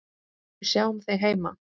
Við sjáum þig heima.